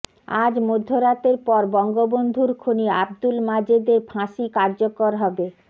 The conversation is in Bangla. আজ মধ্যরাতের পর বঙ্গবন্ধুর খুনি আবদুল মাজেদের ফাঁসি কার্যকর হবে